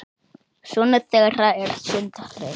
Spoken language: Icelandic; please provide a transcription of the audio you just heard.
Sonur þeirra er Sindri.